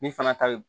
Min fana ta bi